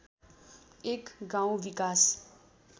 एक गाउँ विकास